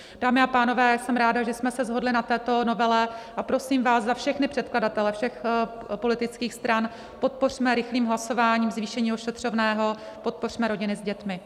Dámy a pánové, jsem ráda, že jsme se shodli na této novele, a prosím vás za všechny předkladatele všech politických stran, podpořme rychlým hlasováním zvýšení ošetřovného, podpořme rodiny s dětmi.